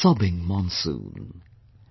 The sobbing monsoon,